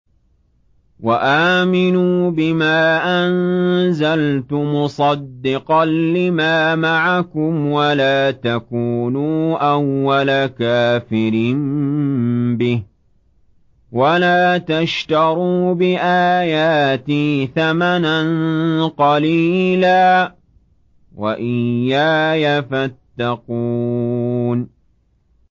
وَآمِنُوا بِمَا أَنزَلْتُ مُصَدِّقًا لِّمَا مَعَكُمْ وَلَا تَكُونُوا أَوَّلَ كَافِرٍ بِهِ ۖ وَلَا تَشْتَرُوا بِآيَاتِي ثَمَنًا قَلِيلًا وَإِيَّايَ فَاتَّقُونِ